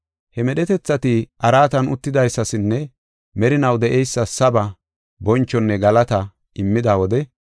He medhetethati araatan uttidaysasinne merinaw de7eysas saba, bonchonne galata immida wode,